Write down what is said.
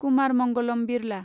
Kumar Mangalam Birla